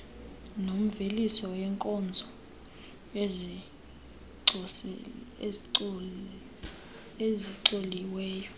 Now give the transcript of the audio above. nemveliso yeenkozo ezicoliweyo